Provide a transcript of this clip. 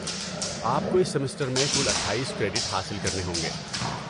آپ کو اس سیمسٹر میں کل اٹھائیس کریڈٹ حاصل کرنے ہوں گے